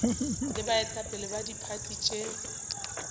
le baetapele ba diphathi tše